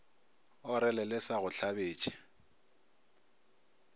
orele le sa go hlabetše